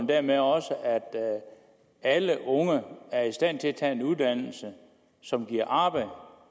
dermed også at alle unge er i stand til at tage en uddannelse som giver arbejde